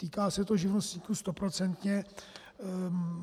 Týká se to živnostníků stoprocentně.